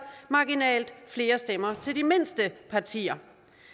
marginalt flere stemmer til de mindste partier